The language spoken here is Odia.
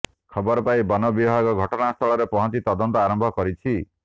ଖବର ପାଇ ବନବିଭାଗ ଘଟଣାସ୍ଥଳରେ ପହଂଚି ତଦନ୍ତ ଆରମ୍ଭ କରିଛି